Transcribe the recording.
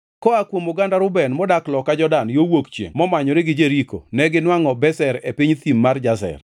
koa kuom oganda Reuben modak loka Jordan, yo wuok chiengʼ momanyore gi Jeriko neginwangʼo Bezer e piny thim mar Jazer,